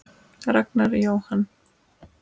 Ragnar Jóhann.